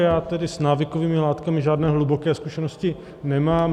Já tedy s návykovými látkami žádné hluboké zkušenosti nemám.